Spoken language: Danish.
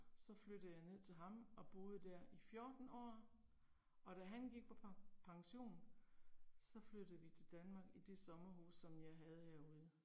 Så flyttede jeg ned til ham og boede der i 14 år og da han gik på pension, så flyttede vi til Danmark i det sommerhus som jeg havde herude